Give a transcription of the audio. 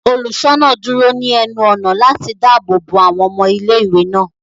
Oluṣọna duro ni ẹnu-ọna lati daabo bo awọn ọmọ ìlé-ìwé náà.